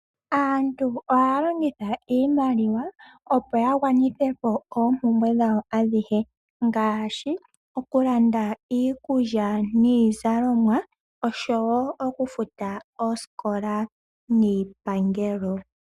Aantu ohaya longitha iimaliwa opo ya gwanitha po oompumbwe dhawo adhihe ngaashi okulanda iikulya niizalomwa oshowo okufuta oosikola niipangelo.